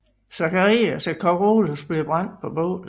Zacharias og Carolus bliver brændt på bålet